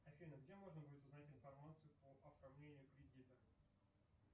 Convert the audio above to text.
афина где можно будет узнать информацию по оформлению кредита